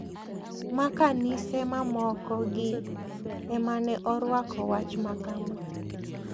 Ma kanise mamoko gi ema ne orwako wach makama.